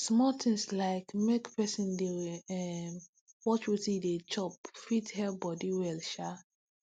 small things like make person dey um watch wetin e dey chop fit help body well um